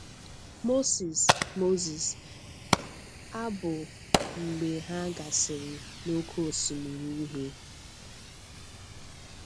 Moses Moses abù mb͕e ha gasiri n'Oké Osimiri Uhie.